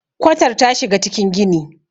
kwatar ta shiga cikin gini